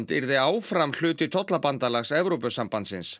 yrði áfram hluti tollabandalags Evrópusambandsins